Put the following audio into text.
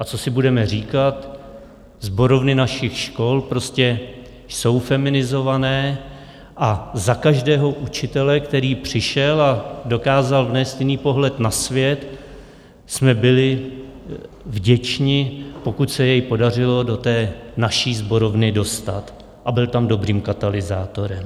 A co si budeme říkat, sborovny našich škol prostě jsou feminizované a za každého učitele, který přišel a dokázal vnést jiný pohled na svět, jsme byli vděčni, pokud se jej podařilo do té naší sborovny dostat, a byl tam dobrým katalyzátorem.